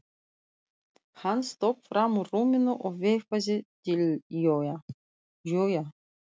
Hann stökk fram úr rúminu og veifaði til Jóa.